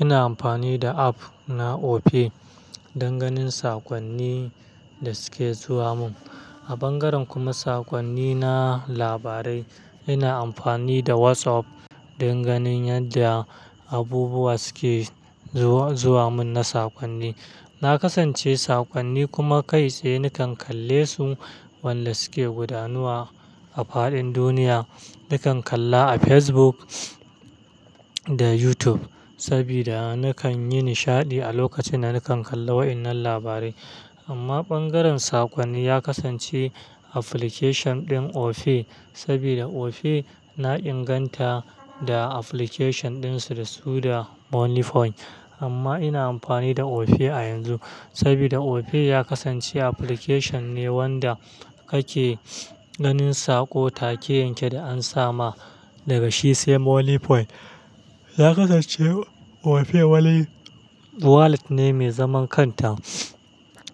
Ina amfani da app na Opay don ganin sakonni da suke zuwa mun. A bangaren kuma sakonni na labarai, ina amfani da WhatsApp don ganin yadda abubuwa suke zuwa mun na sakonni. Na kasance sakonni kuma kai tsaye nakan kalle su, wanda suke gudanuwa a fadin duniya. Nakan kalla a Facebook da YouTube, sabida nakan yi nishadi a lokacin da nakan kalla wa'innan labarai. Amma bangaren sakonni ya kasance application din Opay, sabida Opay na inganta da application dinsu da su da Moniepoint. Amma ina amfani da Opay a yanzu, sabida Opay ya kasance application ne wanda kake ganin saƙo take yanke da an sa ma daga shi sai Moniepoint. Ya kasance Opay wallet ne mai zaman kanta,